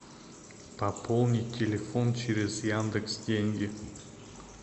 пополнить телефон через яндекс деньги